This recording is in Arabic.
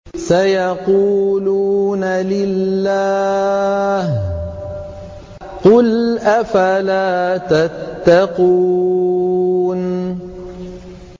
سَيَقُولُونَ لِلَّهِ ۚ قُلْ أَفَلَا تَتَّقُونَ